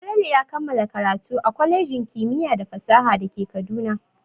Falalu ya kammala karatu a kwalejin kimiyya da fasaha da ke Kaduna.